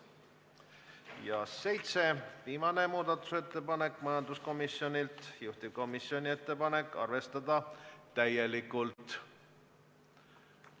Viimane, seitsmes muudatusettepanek tuleb majanduskomisjonilt, juhtivkomisjoni ettepanek on arvestada seda täielikult.